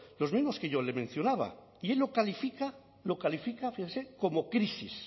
los mismos que yo le mencionaba y él lo califica como crisis